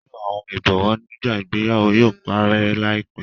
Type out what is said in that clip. Lilo awọn ibọwọ nigba ìgbéyàwó yóò parẹ laipẹ